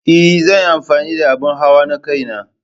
Ee, zan yi amfani da abin hawa na kaina.